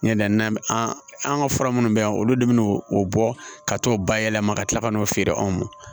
Ɲɛ na an ka fura minnu bɛ yan olu de bɛ n'o bɔ ka t'o bayɛlɛma ka tila ka n'o feere anw ma